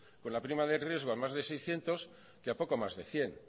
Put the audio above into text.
con la prima de riesgo a más de seiscientos que a poco más de cien